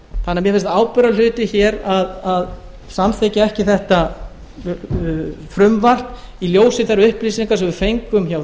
þannig að mér finnst ábyrgðarhluti hér að samþykkja ekki þetta frumvarp í ljósi þeirra upplýsinga sem við fengum